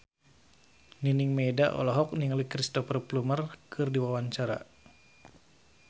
Nining Meida olohok ningali Cristhoper Plumer keur diwawancara